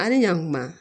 A' ni ɲakuma